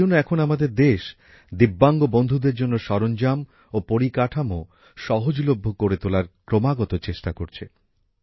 এইজন্য এখন আমাদের দেশ ভিন্নভাবে সক্ষম বন্ধুদের জন্য সরঞ্জাম ও পরিকাঠামো সহজলভ্য করে তোলার ক্রমাগত চেষ্টা করছে